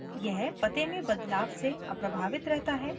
यह पते में बदलाव से अप्रभावित रहता है